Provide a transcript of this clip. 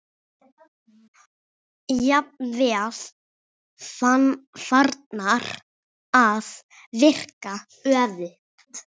Jafnvel farnar að virka öfugt.